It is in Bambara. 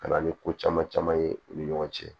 Ka na ni ko caman caman ye u ni ɲɔgɔn cɛ